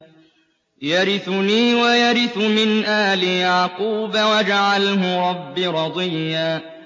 يَرِثُنِي وَيَرِثُ مِنْ آلِ يَعْقُوبَ ۖ وَاجْعَلْهُ رَبِّ رَضِيًّا